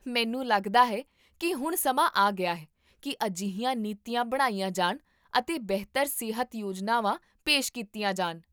ਮੈਨੂੰ ਲੱਗਦਾ ਹੈ ਕੀ ਹੁਣ ਸਮਾਂ ਆ ਗਿਆ ਹੈ ਕੀ ਅਜਿਹੀਆਂ ਨੀਤੀਆਂ ਬਣਾਈਆਂ ਜਾਣ ਅਤੇ ਬਿਹਤਰ ਸਿਹਤ ਯੋਜਨਾਵਾਂ ਪੇਸ਼ ਕੀਤੀਆਂ ਜਾਣ